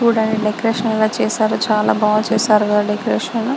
చూడ్డానికి డెకరేషన్ అవి చేసారు. చాలా బా చేసారు కదా డెకరేషన్ .